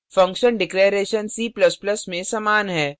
function declaration c ++ में समान है